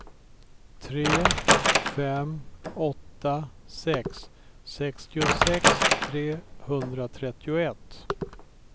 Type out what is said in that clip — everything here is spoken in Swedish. tre fem åtta sex sextiosex trehundratrettioett